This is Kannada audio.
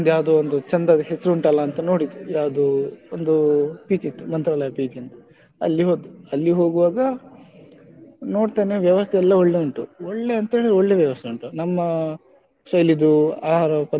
ಯಾವುದೊ ಒಂದು ಚಂದದ ಹೆಸರು ಉಂಟಲ್ಲ ಅಂತ ನೋಡಿದ್ದು ಯಾವುದೊ ಒಂದು PG ಇತ್ತು ಮಂತ್ರಾಲಯ PG ಅಂತ ಅಲ್ಲಿ ಹೋದ್ವಿ ಹೋಗುವಾಗ ನೋಡ್ತೇನೆ ವ್ಯವಸ್ಥೆ ಎಲ್ಲ ಒಳ್ಳೆ ಉಂಟು ಒಳ್ಳೆ ಅಂದ್ರೆ ಒಳ್ಳೆ ವ್ಯವಸ್ಥೆ ಉಂಟು ನಮ್ಮ ಶೈಲಿಯದ್ದು ಆಹಾರ ಪದ್ಧತಿ,